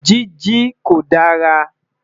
Jiji ko dara